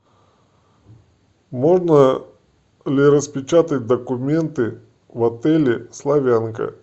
можно ли распечатать документы в отеле славянка